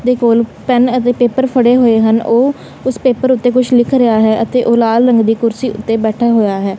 ਦੇ ਕੋਲ ਪੇਨ ਅਤੇ ਪੇਪਰ ਫੜੇ ਹੋਏ ਹਨ ਉਹ ਉਸ ਪੇਪਰ ਉੱਤੇ ਕੁਝ ਲਿਖ ਰਿਹਾ ਹੈ ਅਤੇ ਉਹ ਲਾਲ ਰੰਗ ਦੀ ਕੁਰਸੀ ਉੱਤੇ ਬੈਠਾ ਹੋਇਆ ਹੈ।